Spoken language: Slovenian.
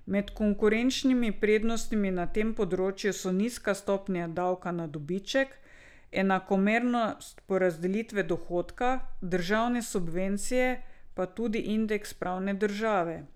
Med konkurenčnimi prednostmi na tem področju so nizka stopnja davka na dobiček, enakomernost porazdelitve dohodka, državne subvencije, pa tudi indeks pravne države.